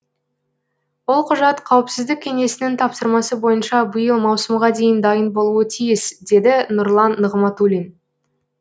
ол құжат қауіпсіздік кеңесінің тапсырмасы бойынша биыл маусымға дейін дайын болуы тиіс деді нұрлан нығматулин